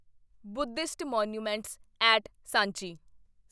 Buddhist monuments at Sanchi